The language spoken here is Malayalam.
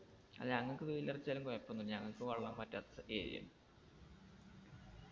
ഞങ്ങക്ക് വെയിലടിച്ചാലും കൊഴപ്പൊന്നുല്ല ഞങ്ങക്ക് വെള്ളം വറ്റാത്ത സ്ഥ area ആണ്